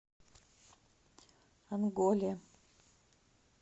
онголе